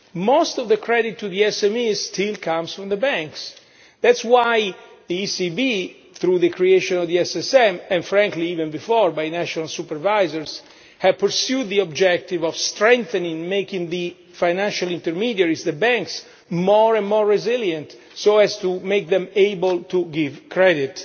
Most of the credit to SMEs still comes from the banks. That is why the ECB, through the creation of the Single Supervisory Mechanism and, frankly, even before, by national supervisors has pursued the objective of strengthening, making the financial intermediaries, the banks, more and more resilient so as to make them able to give credit.